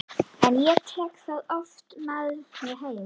En ég tek það oft með mér heim.